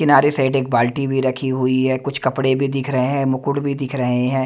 किनारे साइड एक बाल्टी भी रखी हुई है कुछ कपड़े भी दिख रहे हैं मुकुट भी दिख रहे हैं।